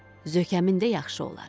Zökəmin də yaxşı olar.